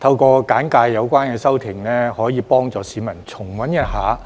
透過簡介有關修訂，可以幫助市民重溫一下，